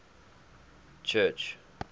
church